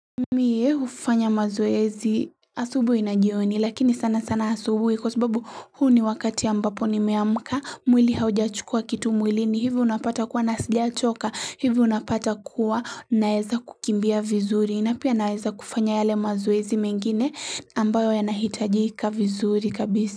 Mimi hufanya mazoezi asubuhi na jioni lakini sana sana asubuhi, kwasababu huu ni wakati ambapo nimeamka mwili haujachukua kitu mwilini hivi unapata kuwa na sijachoka hivi unapata kuwa naweza kukimbia vizuri napia naweza kufanya yale mazoezi mengine ambayo yanahitajika vizuri kabisa.